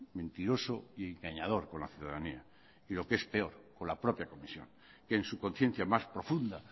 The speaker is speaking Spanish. mentiroso y engañador con la ciudadanía y lo que es peor con la propia comisión que en su conciencia más profunda